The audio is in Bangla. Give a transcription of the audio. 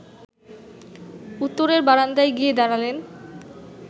উত্তরের বারান্দায় গিয়ে দাঁড়ালেন